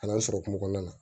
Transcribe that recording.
Kalan sɔrɔ kungo kɔnɔna na